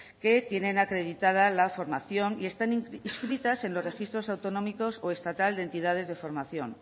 que tienen acreditada la formación y están inscritas en los registros autonómicos o estatal de entidades de formación